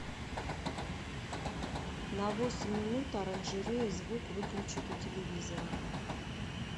на восемь минут оранжерея звук выключить у телевизора